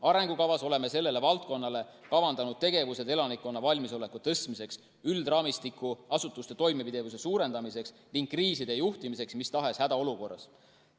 Arengukavas oleme selles valdkonnas kavandanud tegevused elanikkonna valmisoleku tõstmiseks, üldraamistiku asutuste toimepidevuse suurendamiseks ning kriiside juhtimiseks mis tahes hädaolukorras.